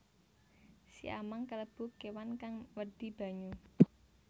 Siamang kalebu kéwan kang wedi banyu